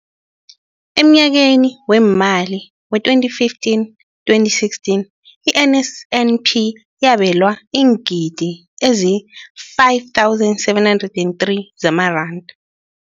Emnyakeni weemali we-2015, 2016, i-NSNP yabelwa iingidigidi ezi-5 703 zamaranda.